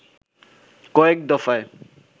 কয়েক দফায়